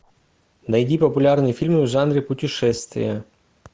найди популярные фильмы в жанре путешествия